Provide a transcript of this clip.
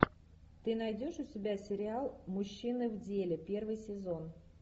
ты найдешь у себя сериал мужчины в деле первый сезон